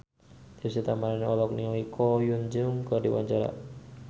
Deswita Maharani olohok ningali Ko Hyun Jung keur diwawancara